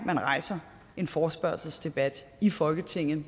man rejser en forespørgselsdebat i folketinget